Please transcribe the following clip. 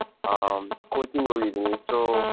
ಹಾಂ coaching ಹೋಗಿದ್ದೀನಿ so,